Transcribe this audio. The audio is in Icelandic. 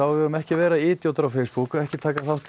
við eigum ekki að vera idjótar á Facebook ekki taka þátt í